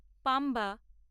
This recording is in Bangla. পাম্বা